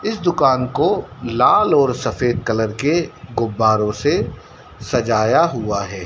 इस दुकान को लाल और सफेद कलर के गुब्बारों से सजाया हुआ है।